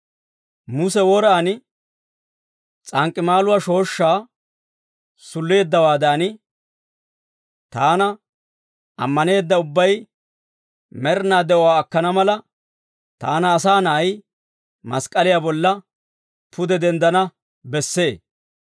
«Muse woraan s'ank'k'imaaluwaa shooshshaa sulleeddawaadan, taana ammaneedda ubbay med'inaa de'uwaa akkana mala, taani Asaa Na'ay mask'k'aliyaa bolla pude denddana bessee.